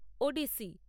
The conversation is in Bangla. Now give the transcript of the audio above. ওড়িশি